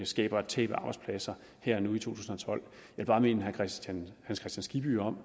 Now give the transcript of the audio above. skaber et tab af arbejdspladser jeg vil bare minde herre hans kristian skibby om